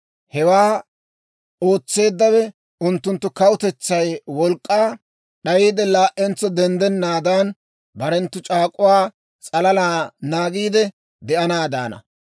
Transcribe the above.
Hewaa ootseeddawe unttunttu kawutetsay wolk'k'aa d'ayiide, laa"entso denddennaadan, barenttu c'aak'uwaa s'alala naagiide de'anaadaana.